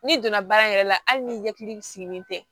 N'i donna baara yɛrɛ la hali ni ɲɛkili sigilen tɛ